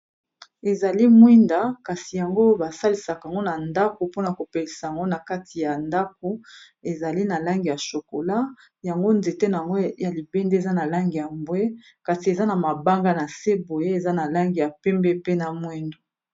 Ezali mwinda kasi yango basalisaka ango na ndako mpona kopelisa ango na kati ya ndako ezali na langi ya chokola yango nzete nango ya libende eza na langi ya mbwe kasi eza na mabanga na se boye eza na langi ya pembe pe na mwindo.